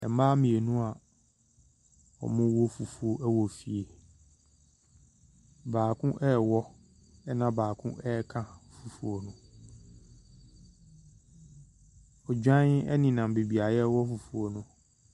Mmaa mmienu wɔrewɔ fufuo ɛwɔ fie. Baako ɛrewɔ na baako ɛreka fufuo no. Odwan ɛnenam beebi a yɛrewɔ fufuo no.